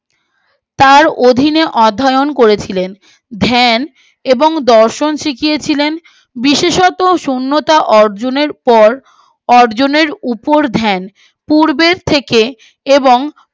তার অধীনে অধ্যায়ন করেছিলেন ধ্যান এবং দর্শন শিখিয়েছিলেন বিশেষত শুন্যতা অর্জনের পর অর্জনের উপর ধ্যান পূর্বের থেকে এবং